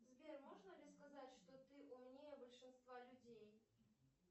сбер можно ли сказать что ты умнее большинства людей